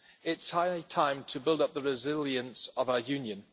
it is high time to build up the resilience of our Union.